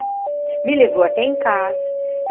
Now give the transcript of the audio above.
Me levou até em casa.